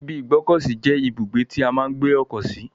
ibi ìgbọ́kọ̀sí je ibugbe ti a maa n gbe oko si.